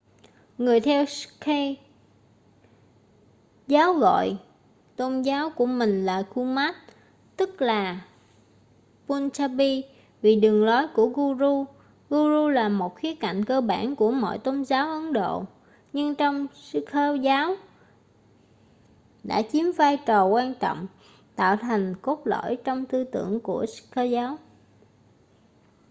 người theo sikh giáo gọi tôn giáo của mình là gurmat tức là punjabi vì đường lối của guru guru là một khía cạnh cơ bản của mọi tôn giáo ấn độ nhưng trong sikh giáo đã chiếm vai trò quan trọng tạo thành cốt lõi trong tư tưởng của sikh giáo